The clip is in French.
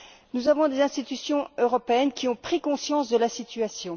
Nous avons des institutions européennes qui ont pris conscience de la situation.